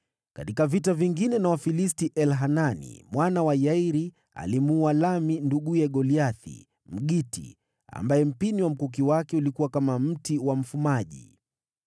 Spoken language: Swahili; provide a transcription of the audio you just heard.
Katika vita vingine na Wafilisti, Elhanani mwana wa Yairi alimuua Lahmi nduguye Goliathi, Mgiti, ambaye mkuki wake ulikuwa na mpini kama mti wa mfumaji.